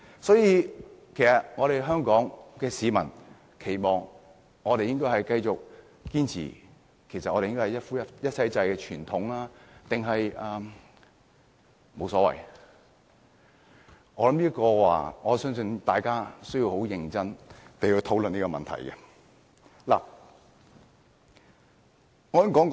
所以，香港市民期望繼續堅持一夫一妻制的傳統，還是沒有所謂，我想大家有需要很認真地討論這個問題。